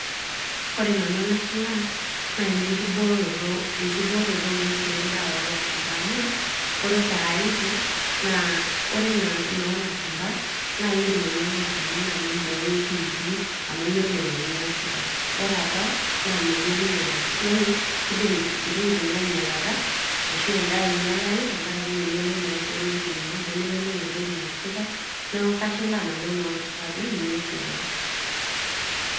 ore nanu enashilaa naa enenkiboroto, enkiboroto ong'uesi endaa olashumpa amu ore saizi naa ore enaa ina olashumpa naindim ainyiang'u olchani naa nimbooyo piipi amu yiolo naa eniasita ore apa naa meyioloi enaas yani kidim intokiting ainyialata ashu endaa ainyialai tenkarake meyioloi naa irkeek loitumiae nemeyioloi entoki naasita naaku kashilaa nanu enolashumpa ajo ninye esidai.